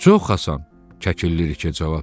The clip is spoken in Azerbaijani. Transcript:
Çox asan, Kəkilliriki cavab verdi.